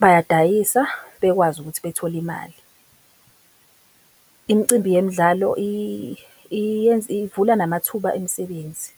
bayadayisa bekwazi ukuthi bethole imali. Imicimbi yemidlalo iyenza ivula namathuba emisebenzi.